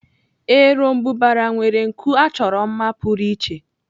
Eròmbụbara nwere nku achọrọ mma pụrụ iche.